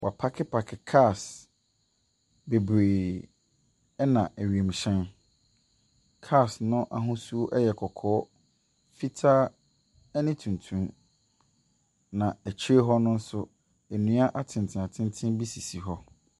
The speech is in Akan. Wɔapaakepaake cars bebree na wiemhyɛn. Cars no ahosuo yɛ kɔkɔɔ, fitaa ne tuntum. Na akyire hɔ nso, nnua atenten atenten bi sisi hɔ.